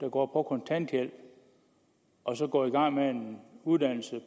går på kontanthjælp og så går i gang med en uddannelse